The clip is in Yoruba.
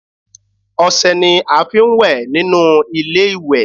Ọṣẹ ni a fi ń wẹ̀ nínú ilé-ìwẹ̀